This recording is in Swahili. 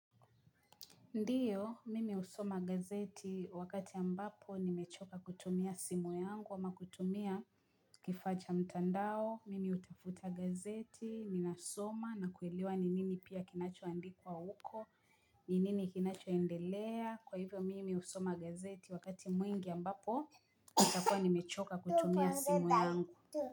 Ndio, mimi husoma gazeti wakati ambapo nimechoka kutumia simu yangu ama kutumia kifaa cha mtandao, mimi hutafuta gazeti, ninasoma na kuelewa ni nini pia kinachoandikwa huko, ni nini kinachoendelea, kwa hivyo mimi husoma gazeti wakati mwingi ambapo nitakuwa nimechoka kutumia simu yangu.